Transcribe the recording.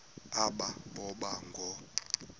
aba boba ngoo